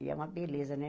E é uma beleza, né?